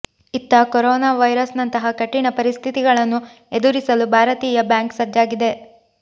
ಇತ್ತ ಕೊರೋನಾ ವೈರಸ್ನಂತಹ ಕಠಿಣ ಪರಿಸ್ಥಿತಿಗಳನ್ನು ಎದುರಿಸಲು ಭಾರತೀಯ ಬ್ಯಾಂಕ್ ಸಜ್ಜಾಗಿದೆ